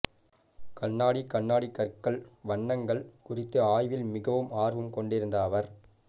கண்ணாடி கண்ணாடி கற்கள் வண்ணங்கள் குறித்த ஆய்வில் மிகவும் ஆர்வம் கொண்டிருந்த அவர்